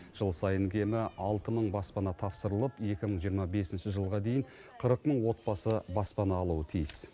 жыл сайын кемі алты мың баспана тапсырылып екі мың жиырма бесінші жылға дейін қырық мың отбасы баспана алуы тиіс